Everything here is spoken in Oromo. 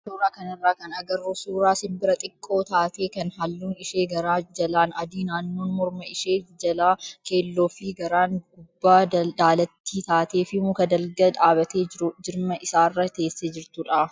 Suuraa kanarraa kan agarru suuraa simbira xiqqoo taatee kan halluun ishee garaa jalaan adii naannoon morma ishee jalaa keelloo fi garaan gubbaa daalattii taatee fi muka dalga dhaabbatee jiru jirma isaarra teessee jirtudha.